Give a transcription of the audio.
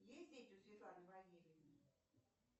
есть дети у светланы валерьевны